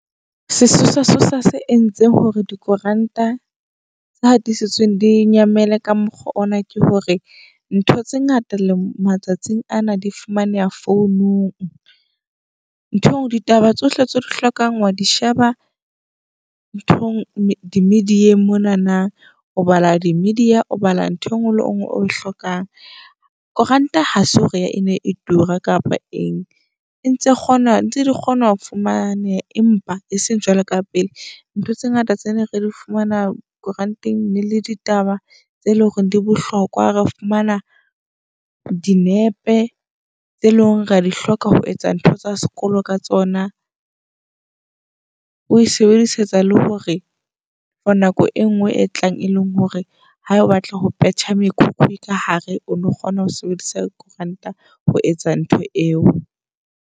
Sesosa-sosa se entseng hore dikoranta tse hatisitsweng di nyamele ka mokgwa ona ke hore ntho tse ngata le matsatsing ana di fumaneha founung. Ntho engwe ditaba tsohle tseo di hlokang wa di sheba nthong di-media-eng monana. O bala di media, o bala ntho engwe le ngwe o e hlokang. Koranta ha se hore e ne e tura kapa eng e ntse kgona ntse di kgona ho fumaneha, empa e seng jwalo ka pele. Ntho tse ngata tse ne re di fumana koranteng ene le ditaba tse leng hore di bohlokwa. Re fumana dinepe tse leng ra di hloka ho etsa ntho tsa sekolo ka tsona. O e sebedisetsa le hore for nako e nngwe e tlang, e leng hore ha o batla ho petjha mekhukhu ka hare. O no kgona ho sebedisa koeranta ho etsa ntho eo.